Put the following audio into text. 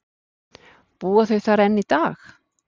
Búa þau þar enn í dag.